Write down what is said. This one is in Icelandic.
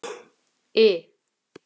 I